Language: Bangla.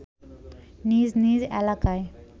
নিজ নিজ এলাকায়